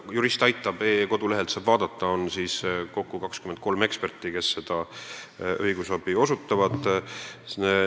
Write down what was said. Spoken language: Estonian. Juristaitab.ee kodulehelt saab vaadata, et kokku osutab õigusabi 23 eksperti.